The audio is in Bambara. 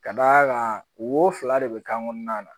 Ka d'a kan wo fila de bɛ kan kɔnɔna na